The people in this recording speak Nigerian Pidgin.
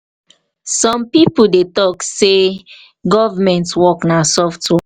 some pipo dey talk sey dey talk sey government work na soft work